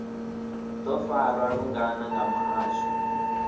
do farwa lungana nga muhasho